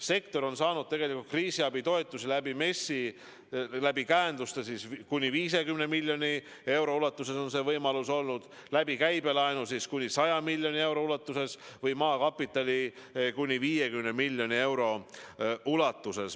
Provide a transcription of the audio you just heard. Sektor on saanud kriisiabitoetusi MES-i kaudu, käenduste kaudu kuni 50 miljoni euro ulatuses, käibelaenu kaudu kuni 100 miljoni euro ulatuses ja maakapitali kaudu kuni 50 miljoni euro ulatuses.